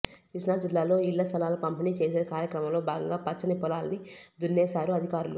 కృష్ణా జిల్లాలో ఇళ్ల స్థలాల పంపిణీ చేసే కార్యక్రమంలో భాగంగా పచ్చని పొలాన్ని దున్నేశారు అధికారులు